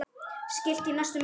Skilti í næstu messu?